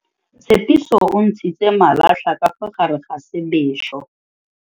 Tshepiso o ntshitse malatlha ka fa gare ga sebesô.